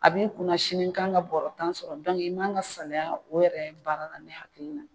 A b'i kunna sini n kan ka bɔrɔ tan sɔrɔ i man ka salaya o yɛrɛ baara la ne hakili la